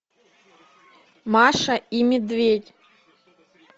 маша и медведь